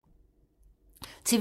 TV 2